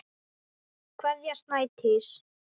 Kveðja, Snædís.